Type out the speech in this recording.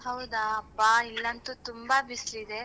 ಹೌದ ಅಪ್ಪ ಇಲ್ಲಂತೂ ತುಂಬಾ ಬಿಸ್ಲಿದೆ.